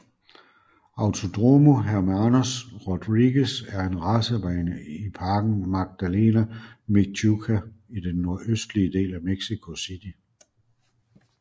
Autódromo Hermanos Rodríguez er en racerbane i parken Magdalena Mixhuca i den nordøstlige del af Mexico City